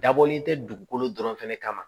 Dabɔlen tɛ dugukolo dɔrɔn fɛnɛ kama ma